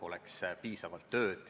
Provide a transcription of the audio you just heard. Urmas Kruuse, palun!